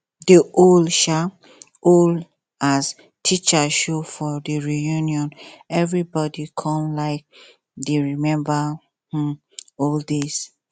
de old um old um teacher show for the reunion everybody come um dey remember um old days